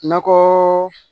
Nakɔ